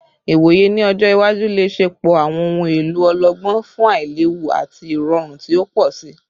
Iwoye ni ọjọ iwaju le ṣepọ awọn ohun elo ọlọgbọn fun ailewu ati irọrun ti o pọ si